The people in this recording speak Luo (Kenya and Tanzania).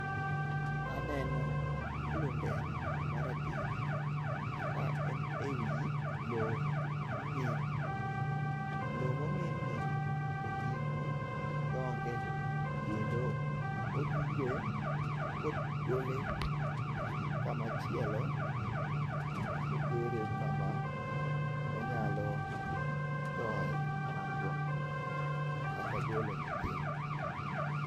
Aneno klundeng' marateng' ka en e wi lo mong'in. Lo mong'inni oting'o tonge kendo odhire kogole kamachielo kotere kama onyalo toye tong'go kata golo nyithinde.